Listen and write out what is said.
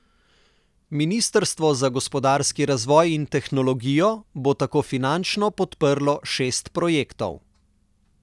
Ministrstvo za gospodarski razvoj in tehnologijo bo tako finančno podprlo šest projektov.